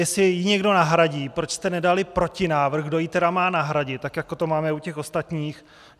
Jestli ji někdo nahradí, proč jste nedali protinávrh, kdo ji tedy má nahradit, tak jako to máme u těch ostatních?